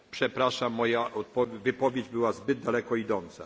Przepraszam, moja wypowiedź była zbyt daleko idąca.